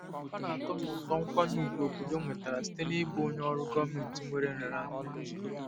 Ọ na-atọ m ụtọ nkwanye ùgwù obodo nwetara site n'ịbụ onye ọrụ gọọmentị nwere nraranye.